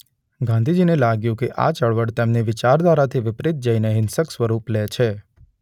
ગાંધીજીને લાગ્યું કે આ ચળવળ તેમની વિચારધારાથી વિપરીત જઈને હિંસક સ્વરૂપ લે છે.